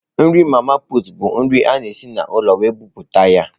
Nri mama pụtụ bụ nri a na esi n'ụlọ wee buputa ya.